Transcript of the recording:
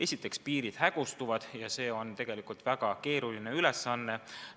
Esiteks, piirid hägustuvad ja see eristamine on tegelikult väga keeruline ülesanne.